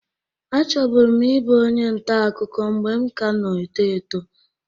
Achọbụrụ m ibụ onye nta akụkụ mgbe m kana-eto eto.